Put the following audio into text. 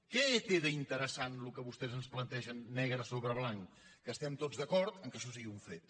què té d’interessant el que vostès ens plantegen ne·gre sobre blanc que estem tots d’acord que això sigui un fet